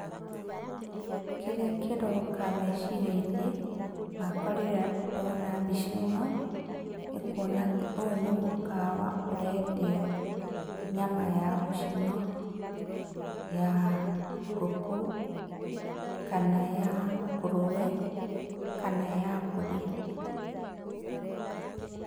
Kĩrĩa kĩroka meciria-inĩ, makwa rĩrĩa ndona mbica ĩno, nĩ kuona atĩ ũyũ nĩ mũkawa ũrendio nyama ya gũcinwo, ya ngũkũ kana ya ngũrũwe, kana ya mbũri.